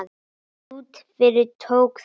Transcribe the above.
Út yfir tók þegar